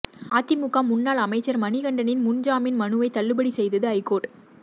அதிமுக முன்னாள் அமைச்சர் மணிகண்டனின் முன்ஜாமின் மனுவை தள்ளுபடி செய்தது ஐகோர்ட்